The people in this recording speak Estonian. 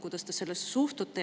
Kuidas te sellesse suhtute?